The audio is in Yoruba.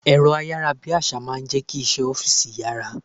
Èrọ ayárabíàṣá máa ń jẹ́ kí iṣẹ́ ọ́fíìsì yára.